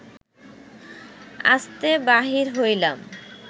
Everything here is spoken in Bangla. আস্তে বাহির হইলাম